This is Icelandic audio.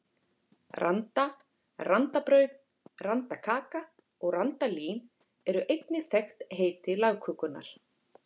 Randa, randabrauð, randakaka og randalín eru einnig þekkt heiti lagkökunnar.